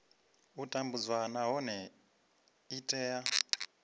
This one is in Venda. u tambudzwa nahone i tea